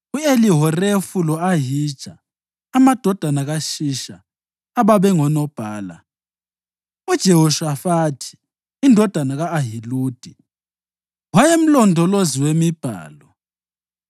u-Elihorefu lo-Ahija, amadodana kaShisha ababengonobhala; uJehoshafathi indodana ka-Ahiludi wayemlondolozi wemibhalo;